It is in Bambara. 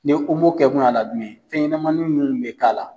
Ni kɛkun y'a la jumɛn ye fɛnɲanamanin munnu bɛ k'a la.